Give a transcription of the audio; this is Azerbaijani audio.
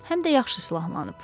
Həm də yaxşı silahlanıb.